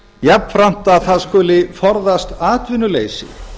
jafnframt að það skuli forðast atvinnuleysi